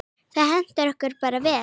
Það hentar okkur bara vel.